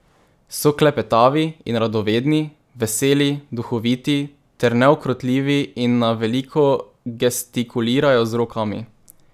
So klepetavi in radovedni, veseli, duhoviti ter neukrotljivi in na veliko gestikulirajo z rokami.